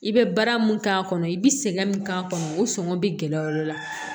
I bɛ baara mun k'a kɔnɔ i bɛ sɛgɛn min k'a kɔnɔ o sɔngɔ be gɛlɛya o de la